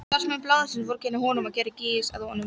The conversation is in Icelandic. Starfsmenn blaðsins vorkenndu honum og gerðu gys að honum.